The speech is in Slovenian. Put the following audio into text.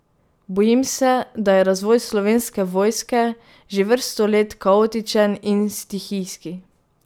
Bojim se, da je razvoj Slovenske vojske že vrsto let kaotičen in stihijski.